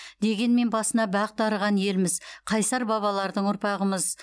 дегенмен басына бақ дарыған елміз қайсар бабалардың ұрпағымыз